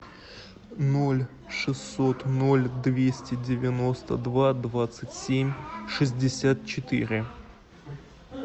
ноль шестьсот ноль двести девяносто два двадцать семь шестьдесят четыре